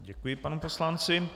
Děkuji panu poslanci.